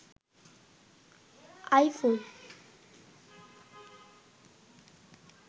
iPhone